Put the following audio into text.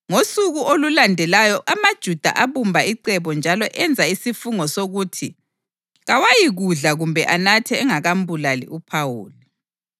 Ngosuku olulandelayo amaJuda abumba icebo njalo enza isifungo sokuthi kawayikudla kumbe anathe engakambulali uPhawuli.